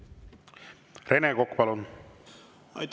Rene Kokk, palun!